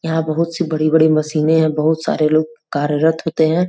यहां बहुत सी बड़ी-बड़ी मशीनें हैं बहुत सारे लोग कार्यरत होते हैं।